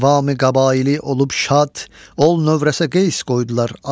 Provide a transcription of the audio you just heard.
Əqvamı qəbaili olub şad, ol növrəsə qeys qoydular ad.